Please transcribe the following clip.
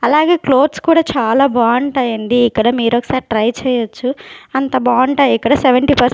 అలాగే క్లోత్స్ కూడా చాలా బావుంటాయండి ఇక్కడ మీరొకసారి ట్రై చేయొచ్చు అంత బావుంటాయిక్కడ సెవెంటీ పర్స్--